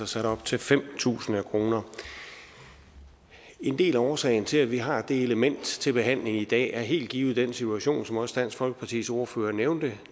sat op til fem tusind kroner en del af årsagen til at vi har det element til behandling i dag er helt givet den situation som også dansk folkepartis ordfører nævnte